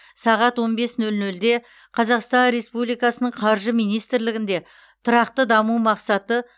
сағат он бес нөл нөлде қазақстан республикасының қаржы министрлігінде тұрақты даму мақсаты